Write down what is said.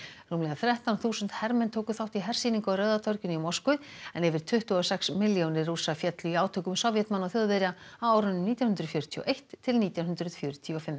rúmlega þrettán þúsund hermenn tóku þátt í hersýningu á Rauða torginu í Moskvu en yfir tuttugu og sex milljónir Rússa féllu í átökum Sovétmanna og Þjóðverja á árunum nítján hundruð fjörutíu og eitt til nítján hundruð fjörutíu og fimm